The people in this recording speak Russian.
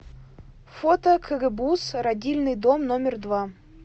фото кгбуз родильный дом номер два